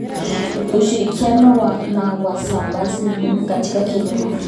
Ushirikiano na wasambazaji ni muhimu katika kilimo.